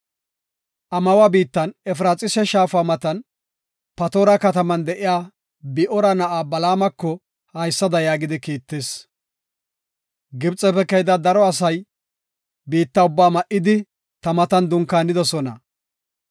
Amawa biittan, Efraxiisa shaafa matan, Patoora kataman de7iya Bi7oora na7aa Balaamako haysada yaagidi kiittis. “Gibxefe keyida daro asay biitta ubbaa ma7idi, ta matan dunkaanidosona.